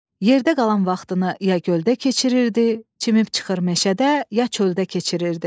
Yerdə qalan vaxtını ya göldə keçirirdi, çimib çıxır meşədə, ya çöldə keçirirdi.